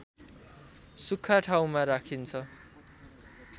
सुख्खा ठाउँमा राखिन्छ